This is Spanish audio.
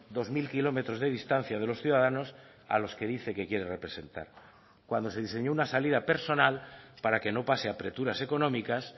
dos mil kilómetros de distancia de los ciudadanos a los que dice que quiere representar cuando se diseñó una salida personal para que no pase apreturas económicas